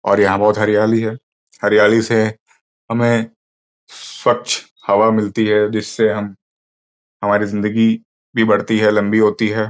और यहां बहुत हरियाली है। हरियाली से हमें स्वच्छ हवा मिलती है जिससे हम हमारी जिंदगी भी बढ़ती है। लंबी होती है।